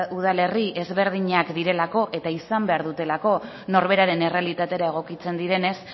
udalerri ezberdinak direlako eta izan behar dutelako norberaren errealitatera egokitzen direnez